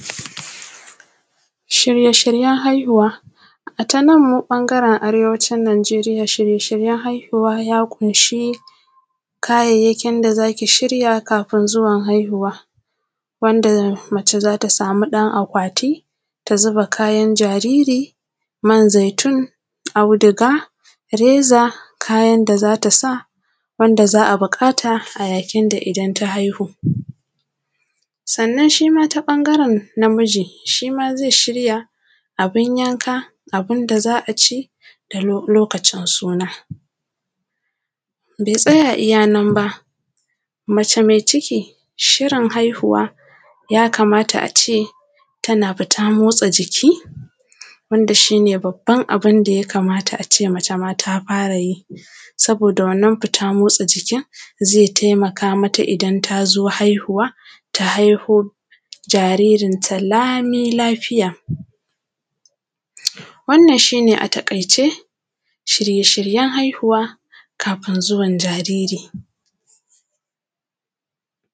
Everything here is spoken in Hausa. Shirye-shiryen haihuwa ya ƙunshi kayayakin da za ki shirya kafin zuwan haihuwa, wanda mace za ta samu ɗan akwati ta zuba kayan jariri: man zitun, audiga, reza, kayan da za ta sa, wanda za a buƙata a yakin da idan ta haihu. Sannan, shi mai ɓangaren na miji, shi mai zai shirya abun yanka, abun da za a ci da lokacin sunna. Bai tsaya iya nan ba, mace mai ciki, shirin haihuwa ya kamata a ce tana fita motsa jiki, wanda shi ne babban abun da a ce mace mai ta fara yi. Saboda wannan fita motsa jikin zai taimaka mata idan ta zo haihuwa, ta haihu jaririnta lamilafiya. Wannan shi ne a taƙaice shirye-shiryen haihuwa kafin zuwan jariri.